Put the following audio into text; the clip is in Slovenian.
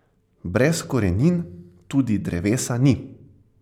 Brez korenin tudi drevesa ni.